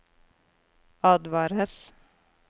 advares